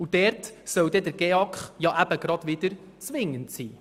Und gerade dort soll der GEAK wieder zwingend sein.